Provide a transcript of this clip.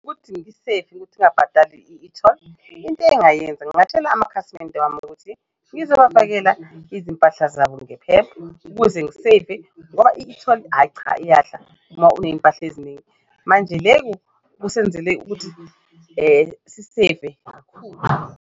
Ukuthi ngiseyive ukuthi ngabhadali i-e-toll into engayenza ngatshela amakhasimende wami ukuthi ngizowafakela izimpahla zabo ukuze ngiseyive ngoba i-e-toll ayi cha iyadla uma unezimpahla eziningi, manje leku kusenzele ukuthi siyiseyive kakhulu.